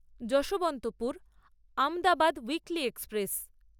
Yesvantpur Ahmedabad weekly express